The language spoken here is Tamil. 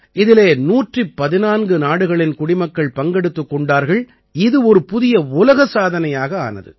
இதிலே 114 நாடுகளின் குடிமக்கள் பங்கெடுத்துக் கொண்டார்கள் இது ஒரு புதிய உலக சாதனையாக ஆனது